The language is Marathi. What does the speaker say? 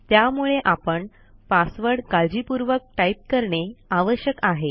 त्यामुळे आपण पासवर्ड काळजीपूर्वक टाईप करणे आवश्यक आहे